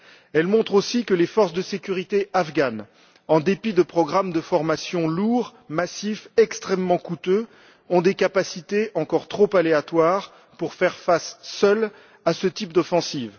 Elle montre aussi que les forces de sécurité afghanes, en dépit de programmes de formations lourds, massifs et extrêmement coûteux, ont des capacités encore trop aléatoires pour faire face seules à ce type d'offensive.